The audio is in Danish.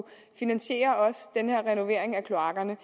finansiere også den her renovering af kloakkerne